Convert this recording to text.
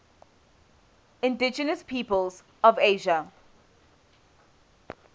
indigenous peoples of asia